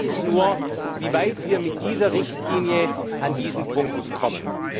Die Frage ist nur, wie weit wir mit dieser Richtlinie an diesen Punkten kommen.